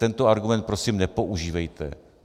Tento argument prosím nepoužívejte.